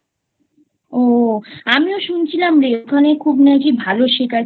ও আমিও শুনছিলাম রে ওখানে খুব নাকি ভালো শেখায়